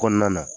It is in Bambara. Kɔnɔna na